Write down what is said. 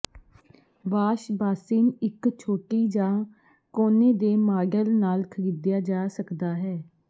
washbasin ਇੱਕ ਛੋਟੀ ਜਾਂ ਕੋਨੇ ਦੇ ਮਾਡਲ ਨਾਲ ਖਰੀਦਿਆ ਜਾ ਸਕਦਾ ਹੈ